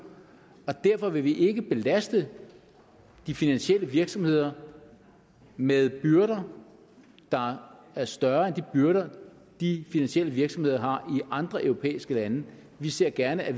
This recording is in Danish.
og derfor vil vi ikke belaste de finansielle virksomheder med byrder der er større end de byrder de finansielle virksomheder har i andre europæiske lande vi ser gerne at